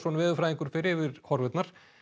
veðurfræðingur fer yfir horfurnar